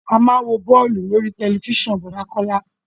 A má ń wo bọ́ọ̀lù lórí tẹ̀lifísàn Bọ̀dá Kọ́lá